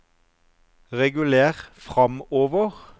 reguler framover